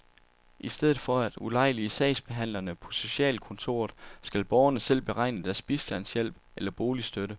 I stedet for at ulejlige sagsbehandlerne på socialkontoret skal borgerne selv beregne deres bistandshjælp eller boligstøtte.